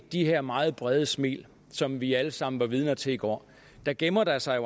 de her meget brede smil som vi alle sammen var vidne til i går gemmer der sig